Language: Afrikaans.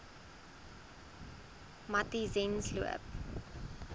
matyzensloop